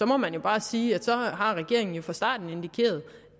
må man jo bare sige at så har regeringen fra starten indikeret